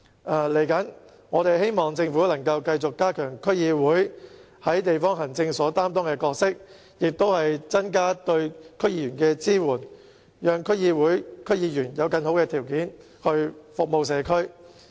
未來，我們希望政府能夠繼續加強區議會在地方行政方面擔當的角色，增加對區議員的支援，讓區議會及區議員有更好的條件來服務社區。